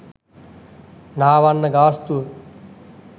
නාවන්න ගාස්තුව